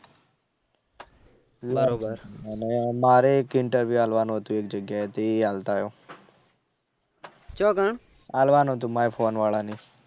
અને મારે એક interview આલવાનું હતું. એલ જગ્યાએ તો એ આલતા આવું આલવાનું હતું. મારે ફોન વાળા એ